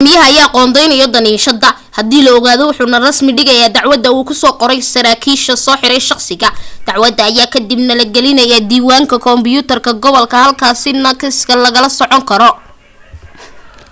gudoomiyaha ayaa qoondeeyo damiinashada hadii la ogolaado wuxuu na rasmi ka dhigaa dacwada uu ku soo qortay saraakiilka soo xiray shakhsiga dacwadda ayaa ka dib na la geliyaa diiwaanka kombuyuutarka gobolka halkaasi na kiiska lagala socon karo